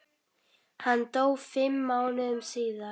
Hann dó fimm mánuðum síðar.